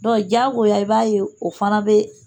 diyago i b'a ye o fana bɛ